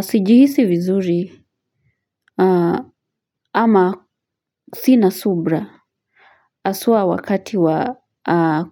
Sijihisi vizuri ama sina subra haswa wakati wa